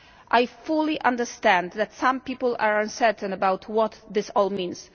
I fully understand that some people are uncertain about what this all means.